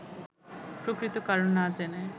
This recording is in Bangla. প্রকৃত কারণ না জেনে